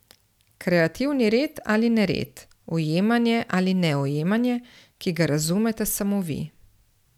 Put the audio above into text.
Kreativni red ali nered, ujemanje ali neujemanje, ki ga razumete samo vi ...